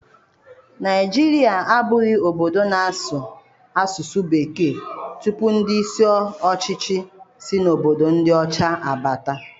Naijiria abụghị obodo na-asụ asụsụ Bekee tupu ndị isi ọchịchị si na obodo ndị ọcha abata.